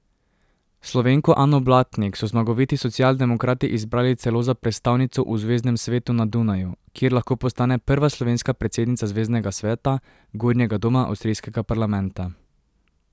Slovenko Ano Blatnik so zmagoviti socialdemokrati izbrali celo za predstavnico v zveznem svetu na Dunaju, kjer lahko postane prva slovenska predsednica zveznega sveta, gornjega doma avstrijskega parlamenta.